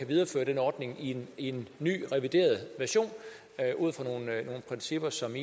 videreføre den ordning i en ny revideret version ud fra nogle principper som